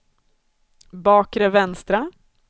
bakre vänstra